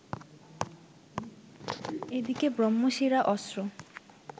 এদিকে ব্রহ্মশিরা অস্ত্র